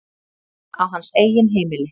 Á hans eigin heimili.